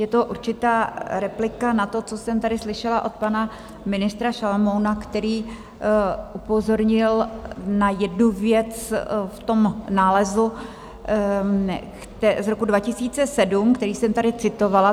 Je to určitá replika na to, co jsem tady slyšela od pana ministra Šalomouna, který upozornil na jednu věc v tom nálezu z roku 2007, který jsem tady citovala.